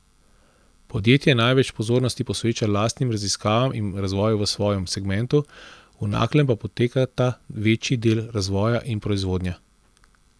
Podjetje največ pozornosti posveča lastnim raziskavam in razvoju v svojem segmentu, v Naklem pa potekata večji del razvoja in proizvodnja.